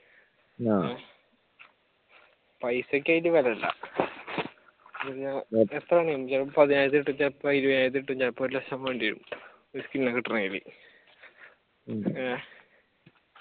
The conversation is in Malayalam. പൈസക്ക് അതിൽ വിലയില്ല ചിലപ്പോ ഒരു ലക്ഷം വേണ്ടിവരും skin കിട്ടണമെങ്കിൽ